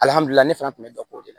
Alihamidulila ne fana tun bɛ dɔ ko de la